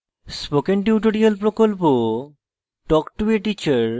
spoken tutorial প্রকল্প talk to a teacher প্রকল্পের অংশবিশেষ